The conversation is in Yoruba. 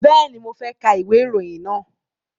Bẹ́ẹ̀ni, mo fẹ́ ka ìwé ìròyìn náà